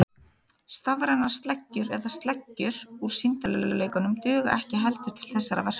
Stafrænar sleggjur eða sleggjur úr sýndarveruleikanum duga ekki heldur til þessara verka.